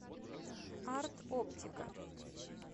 арт оптика